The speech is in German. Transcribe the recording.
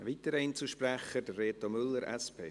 Ein weiterer Einzelsprecher, Reto Müller, SP.